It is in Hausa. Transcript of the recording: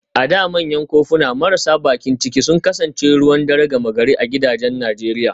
A da manyan kofuna marasa bakin ciki sun kasance ruwan dare gama gari a gidajen Najeriya